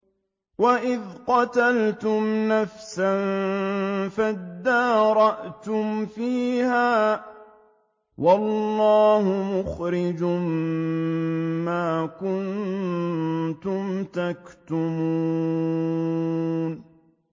وَإِذْ قَتَلْتُمْ نَفْسًا فَادَّارَأْتُمْ فِيهَا ۖ وَاللَّهُ مُخْرِجٌ مَّا كُنتُمْ تَكْتُمُونَ